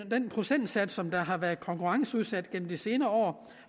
procentdel som har været konkurrenceudsat igennem de senere år